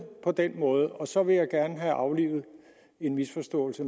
på den måde og så vil jeg gerne have aflivet en misforståelse